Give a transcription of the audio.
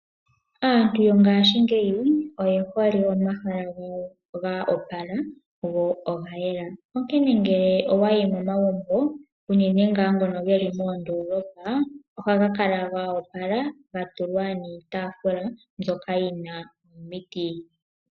Aantu yongaashingeyi oye hole omahala gawo ga opala, go oga yela, nonkene ngele owayi momagumbo unene ngaa ngono geli moondolopa, ohaga kala ga opala ga tulwa niitafula mbyoka yina omiti.